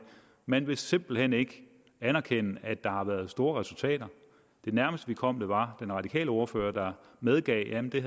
man vil simpelt hen ikke anerkende at der har været store resultater det nærmeste vi kom var den radikale ordfører medgav at det